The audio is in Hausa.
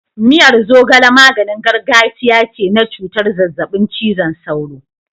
Miyar zogale maganin gargajiya ce na cutar zazzabin cizon sauro.